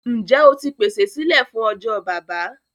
Njẹ́ o ti pèsè sílé fún ọjọ́ Baba?